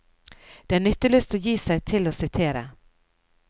Det er nytteløst å gi seg til å sitere.